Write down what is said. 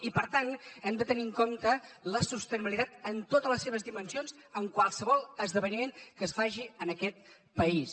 i per tant hem de tenir en compte la sostenibilitat en totes les seves dimensions en qualsevol esdeveniment que es faci en aquest país